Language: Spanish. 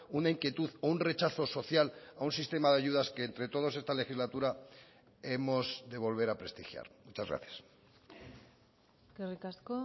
una inquietud o un rechazo social a un sistema de ayudas que entre todos esta legislatura hemos de volver a prestigiar muchas gracias eskerrik asko